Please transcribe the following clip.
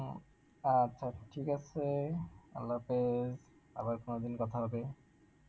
আচ্ছা ঠিক আছে, আল্লাহ হাফেজ আমার কোনদিন কথা হবে